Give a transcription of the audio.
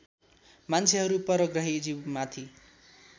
मान्छेहरू परग्रही जीवमाथि